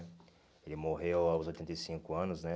Ele morreu aos oitenta e cinco anos, né?